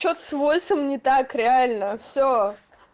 что-то с войсов не так реально все